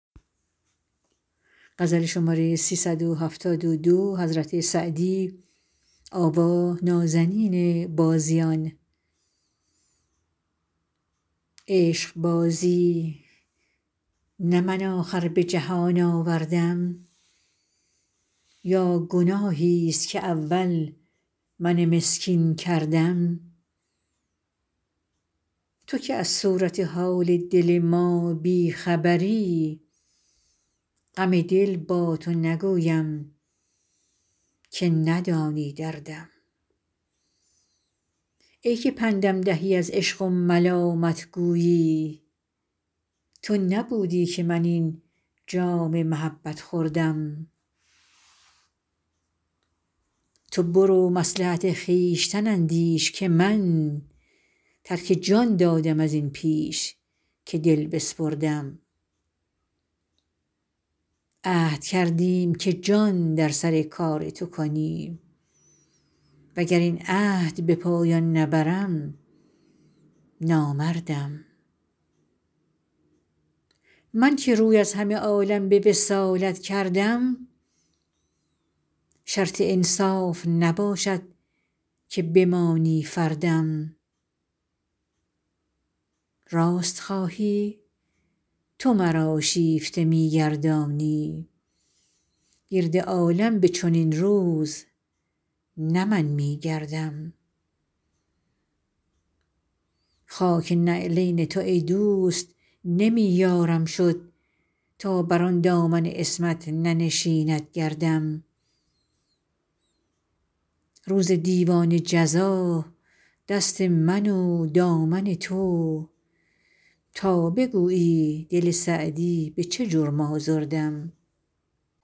عشقبازی نه من آخر به جهان آوردم یا گناهیست که اول من مسکین کردم تو که از صورت حال دل ما بی خبری غم دل با تو نگویم که ندانی دردم ای که پندم دهی از عشق و ملامت گویی تو نبودی که من این جام محبت خوردم تو برو مصلحت خویشتن اندیش که من ترک جان دادم از این پیش که دل بسپردم عهد کردیم که جان در سر کار تو کنیم و گر این عهد به پایان نبرم نامردم من که روی از همه عالم به وصالت کردم شرط انصاف نباشد که بمانی فردم راست خواهی تو مرا شیفته می گردانی گرد عالم به چنین روز نه من می گردم خاک نعلین تو ای دوست نمی یارم شد تا بر آن دامن عصمت ننشیند گردم روز دیوان جزا دست من و دامن تو تا بگویی دل سعدی به چه جرم آزردم